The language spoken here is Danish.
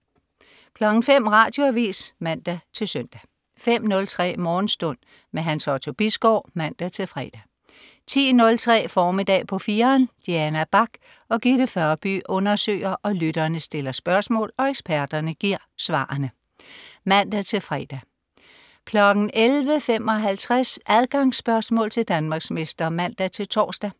05.00 Radioavis (man-søn) 05.03 Morgenstund. Hans Otto Bisgaard (man-fre) 10.03 Formiddag på 4'eren. Diana Bach og Gitte Førby undersøger, lytterne stiller spørgsmål og eksperterne giver svareren (man-fre) 11.59 Adgangsspørgsmål til Danmarksmester (man-tors)